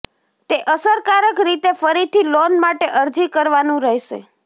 તે અસરકારક રીતે ફરીથી લોન માટે અરજી કરવાનું રહેશે